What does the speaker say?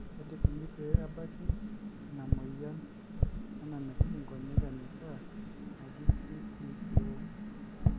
kaji ikoni pee ebaki ina moyian e namitiki nkonyek enyikaa naji CPEO?